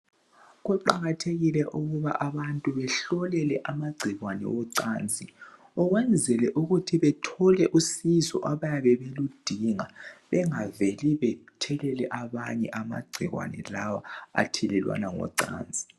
Kuqakathekile ukuba abantu behlolele amagcikwane wocansi ukwenzela ukuthi bethole usizo abayabe beludinga bengaveli bethelele abanye amagcikwane lawa athelelwana ngocansi